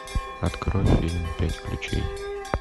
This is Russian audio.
открой фильм пять ключей